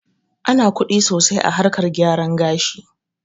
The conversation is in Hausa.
Ana kuɗi sosai a harkar gyaran gashi